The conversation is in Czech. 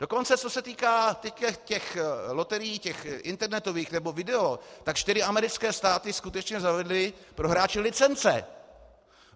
Dokonce co se týká těch loterií, těch internetových nebo video, tak čtyři americké státy skutečně zavedly pro hráče licence.